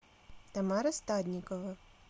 тамара стадникова